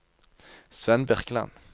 Svend Birkeland